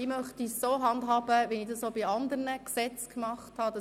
Ich möchte es so handhaben, wie ich es auch bei anderen Gesetzen gemacht habe: